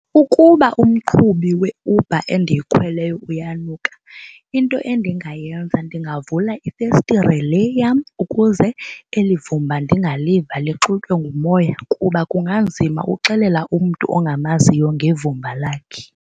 Ukuba umqhubi weUber endiyikhweleyo uyanuka into endingayenza ndingavula ifestire le yam ukuze eli vumba ndingaliva, lixutywe ngumoya, kuba kunganzima uxelela umntu ongamaziyo ngevumba lakhe.